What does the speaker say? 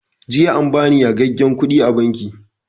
Jiya an bani yagagen kuɗi a banki